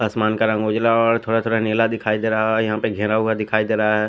असमान का रंग उजला और थोरा थोरा नीला दिखाई दे रहा है यहां पे घेरा हुआ दिखाई दे रहा है।